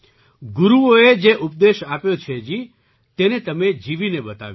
ગુરુઓએ જે ઉપદેશ આપ્યો છે જી તેને તમે જીવીને બતાવ્યો છે